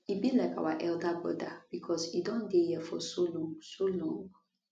e be like our elder broda becos e don dey here for so long so long